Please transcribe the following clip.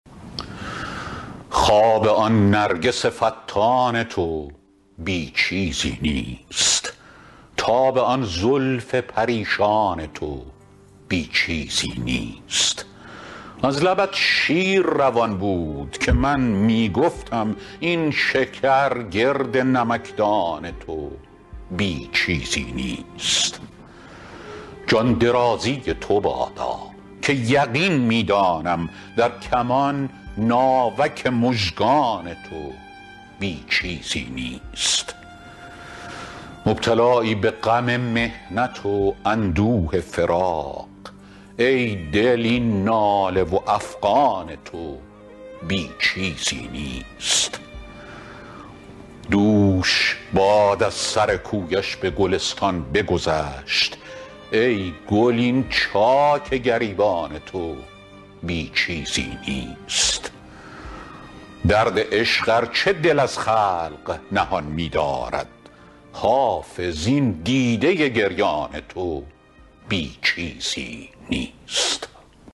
خواب آن نرگس فتان تو بی چیزی نیست تاب آن زلف پریشان تو بی چیزی نیست از لبت شیر روان بود که من می گفتم این شکر گرد نمکدان تو بی چیزی نیست جان درازی تو بادا که یقین می دانم در کمان ناوک مژگان تو بی چیزی نیست مبتلایی به غم محنت و اندوه فراق ای دل این ناله و افغان تو بی چیزی نیست دوش باد از سر کویش به گلستان بگذشت ای گل این چاک گریبان تو بی چیزی نیست درد عشق ار چه دل از خلق نهان می دارد حافظ این دیده گریان تو بی چیزی نیست